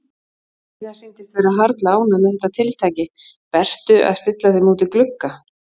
Heiða sýndist vera harla ánægð með þetta tiltæki Bertu að stilla þeim út í glugga.